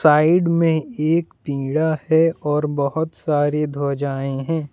Side मे एक पीड़ा है और बहुत सारे ध्वजाएं हैं।